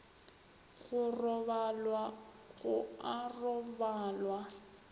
go robalwa go a robalwa